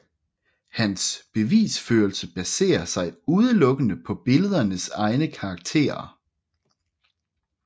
Hans bevisførelse baserer sig udelukkende på billedernes egne karakterer